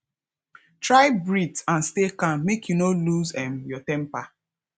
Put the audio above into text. try breath and stay calm make you no loose um your temper